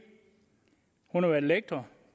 hun har været lektor